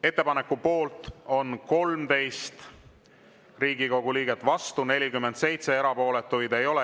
Ettepaneku poolt on 13 Riigikogu liiget, vastu 47, erapooletuid ei ole.